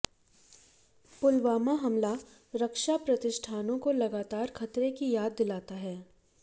पुलवामा हमला रक्षा प्रतिष्ठानों को लगातार खतरे की याद दिलाता है